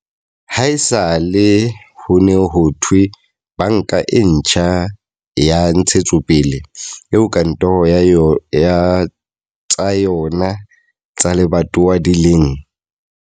Haesale ho ne ho thehwe Banka e Ntjha ya Ntshetsopele, eo kantoro tsa yona tsa lebatowa di leng.